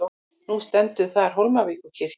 Nú stendur þar Hólmavíkurkirkja.